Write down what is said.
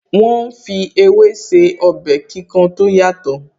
Wọ́n ń fi ewé se ọbẹ̀ kíkan tó yàtọ̀